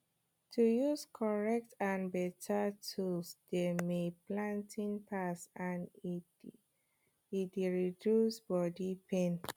to use correct and beta tool dey may planting fast and e d reduce body pain